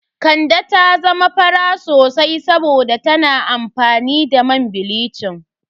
Kande ta zama fara sosai saboda tana amfani da man bilicin.